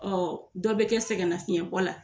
Ɔ dɔ bɛ kɛ sɛgɛnlafiɲɛn bɔ la.